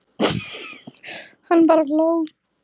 Hann bara hló.